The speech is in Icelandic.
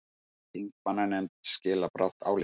Þingmannanefnd skilar brátt áliti